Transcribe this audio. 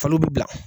Falo bɛ bila